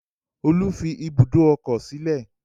Olú fi ibùdó ọkọ̀ sílẹ̀.